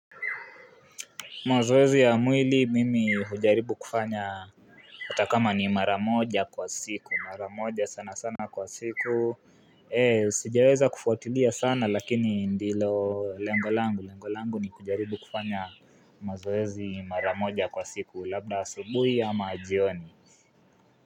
Mazoezi ya mwili mimi hujaribu kufanya atakama ni maramoja kwa siku. Maramoja sana sana kwa siku. Sijaweza kufuatilia sana lakini ndilo lengolangu. Lengolangu ni kujaribu kufanya mazoezi maramoja kwa siku. Labda sabuhi ama ajioni.